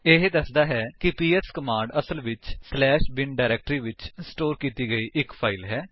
ਇਹ ਦੱਸਦਾ ਹੈ ਕਿ ਪੀਐਸ ਕਮਾਂਡ ਅਸਲ ਵਿੱਚ ਬਿਨ ਡਾਇਰੇਕਟਰੀ ਵਿੱਚ ਸਟੋਰ ਕੀਤੀ ਗਈ ਇੱਕ ਫਾਇਲ ਹੈ